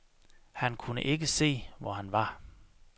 Han kunne ikke se, hvor han var.